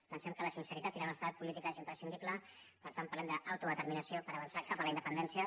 pensem que la sinceritat i l’honestedat política és imprescindible per tant parlem d’autodeterminació per avançar cap a la independència